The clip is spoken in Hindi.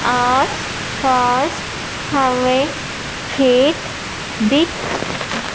आस पास हमें खेत दिख--